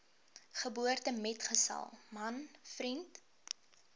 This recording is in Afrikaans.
geboortemetgesel man vriend